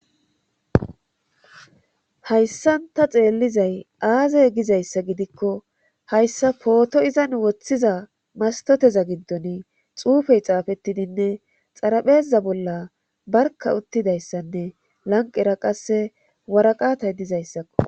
Hayssan ta xeellizay aazey gizayssa gidikko hayssa pooto izan woththiza mastoteza gindoni xuufey xaafettidinne xarapheza bolla barka uttidayssanne lanqera qasse waraqatay dizayssakko